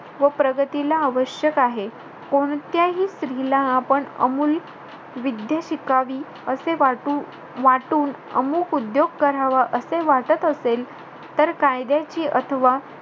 व प्रगतीला आवश्यक आहे. कोणत्याही स्त्रीला आपण अमूल विद्या शिकावी असे वाटू~ वाटून, अमुक उद्योग करावा, असे वाटत असेल. तर कायद्याची अथवा,